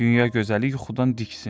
Dünya gözəli yuxudan diksindi.